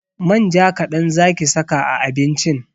Manja kaɗan zaki saka a abincin!